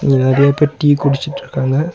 இதுல நெறையா பேர் டீ குடிச்சிட்ருக்காங்க.